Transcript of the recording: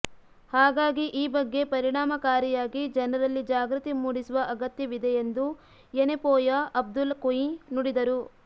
ಹಾಗಾಗಿ ಈ ಬಗ್ಗೆ ಪರಿಣಾಮಕಾರಿಯಾಗಿ ಜನರಲ್ಲಿ ಜಾಗೃತಿ ಮೂಡಿಸುವ ಅಗತ್ಯವಿದೆ ಎಂದು ಯೆನೆಪೊಯ ಅಬ್ದುಲ್ಲ ಕುಂಞಿ ನುಡಿದರು